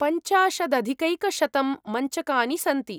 पञ्चाशदधिकैकशतं मञ्चकानि सन्ति।